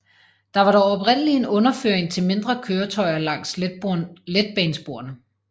Der var dog oprindeligt en underføring til mindre køretøjer langs letbanesporene